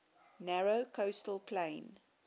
narrow coastal plain